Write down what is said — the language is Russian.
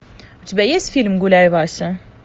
у тебя есть фильм гуляй вася